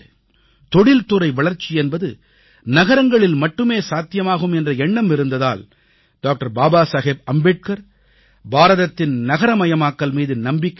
தொழில்துறை வளர்ச்சி என்பது நகரங்களில் மட்டுமே சாத்தியமாகும் என்ற எண்ணம் இருந்ததால் டாக்டர் பாபா சாஹேப் அம்பேத்கர் பாரதத்தின் நகரமயாக்கல் மீது நம்பிக்கை கொண்டார்